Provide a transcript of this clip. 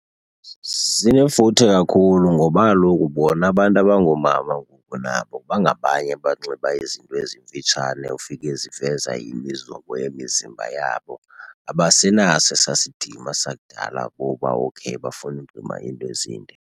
Sinefuthe kakhulu ngoba kaloku bona abantu abangoomama ngoku nabo bangabanye abanxiba izinto ezimfitshane ufike ziveza imizobo yemizimba yabo. Abasenazo esaa sidima sakudala boba okay bafuna ukunxiba iinto ezinde.